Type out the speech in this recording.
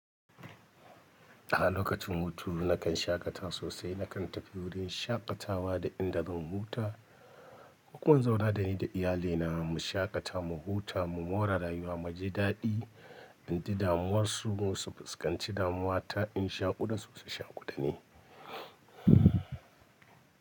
A lokacin hutu nakan shaƙata sosai, nakan tafi wurin shaƙatawa da inda zan huta. Ko kuma in zauna dani da iyalina mu shaƙata, mu huta, mu more rayuwa, mu ji daɗi, in ji damuwarsu su fuskanci damuwa ta in shaƙu da su su shaƙu da ni.